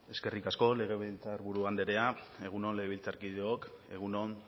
zurea da hitza eskerrik asko legebiltzarburu anderea egun on legebiltzarkideok egun on